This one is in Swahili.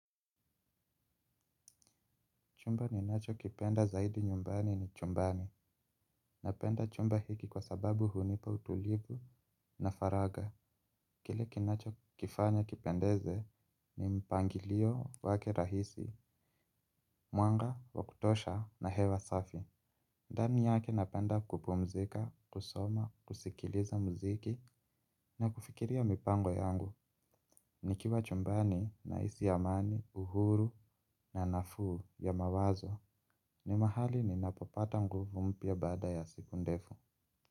Chumba ninacho kipenda zaidi nyumbani ni chumbani. Napenda chumba hiki kwa sababu hunipa utulivu na faragha. Kile kinacho kifanya kipendeze ni mpangilio wake rahisi, mwanga, wakutosha na hewa safi. Ndani yake napenda kupumzika, kusoma, kusikiliza muziki na kufikiria mipango yangu. Nikiwa chumbani, nahisi ya amani, uhuru na nafuu ya mawazo. Ni mahali ninapopata nguvu mpya baada ya siku ndefu.